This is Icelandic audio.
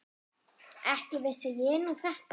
Ekki vissi ég nú þetta.